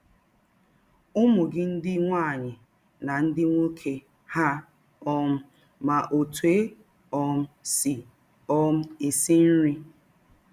Ụmụ gị ndị nwaanyị na ndị nwoke hà um ma otú e um sị um esi nri?